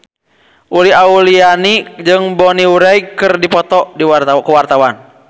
Uli Auliani jeung Bonnie Wright keur dipoto ku wartawan